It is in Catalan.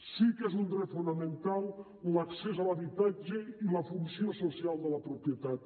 sí que és un dret fonamental l’accés a l’habitatge i la funció social de la propietat